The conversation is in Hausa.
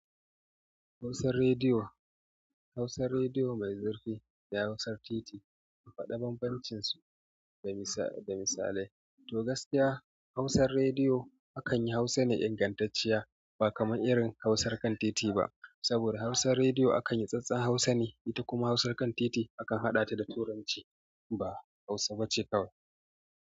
Hausar rediyo, hausar rediyo mai zurfi da hausar titi a faɗi banbancinsu, da misalai. To gaskiya hausar rediyo akan yi Hausa ne ingantacciya ba kamar irin hausar kan titi ba. Saboda hausar rediyo akan yi tsattsan Hausa ne, ita kuma hausar kan titi akan haɗa ta da Turanci ba Hausa bace kawai.